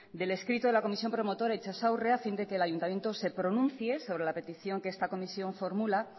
del escrito de la comisión promotora itsas aurre a fin de que el ayuntamiento se pronuncie sobre la petición que esta comisión formula